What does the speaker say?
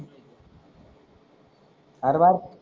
अरे बात